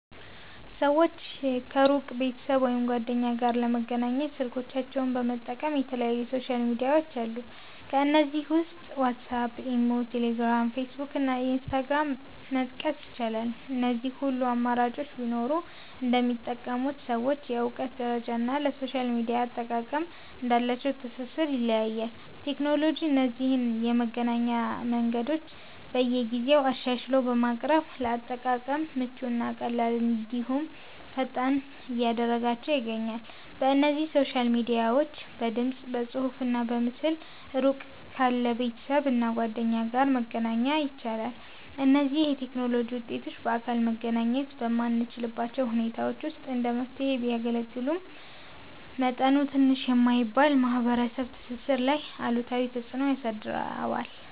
ሰወች ከሩቅ ቤተሰብ ወይም ጓደኛ ጋር ለመገናኘት ስልኮቻቸውን በመጠቀም የተለያዩ ሶሻል ሚድያዎች አሉ። ከነዚህም ውስጥ ዋትስአፕ፣ ኢሞ፣ ቴሌግራም፣ ፌስቡክ እና ኢንስታግራምን መጥቀስ ይቻላል። እነዚህ ሁሉ አማራጮች ቢኖሩም እንደሚጠቀሙት ሰዎች የእውቀት ደረጃ እና ለሶሻል ሚድያ አጠቃቀም እንዳላቸው ትስስር ይለያያል። ቴክኖሎጂ እነዚህን የመገናኛ መንገዶች በየጊዜው አሻሽሎ በማቅረብ ለአጠቃቀም ምቹ እና ቀላል እንድሁም ፈጣን እያደረጋችው ይገኛል። በእነዚህ ሶሻል ሚድያዎች በድምፅ፣ በፅሁፍ እና በምስል እሩቅ ካለ ቤተሰብ እና ጓደኛ ጋር መገናኛ ይቻላል። እነዚህ የቴክኖሎጂ ውጤቶች በአካል መገናኘት በማንችልባቸው ሁኔታዎች ውስጥ እንደ መፍትሔ ቢያገለግሉም፤ መጠኑ ትንሽ የማይባል የማህበረሰብ ትስስር ላይ አሉታዊ ተፅእኖ አሳድረዋል።